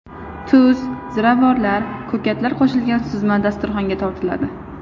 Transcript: Tuz, ziravorlar, ko‘katlar qo‘shilgan suzma dasturxonga tortiladi.